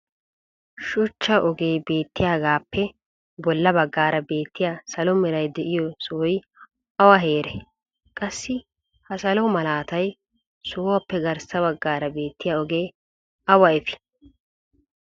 shuchcha ogee beetiyaagaappe bola bagaara beettiya salo meray de'iyo sohoy awa heeree? qassi ha salo malattiya sohuwappe garssa bagaara beettiya ogee awa efii?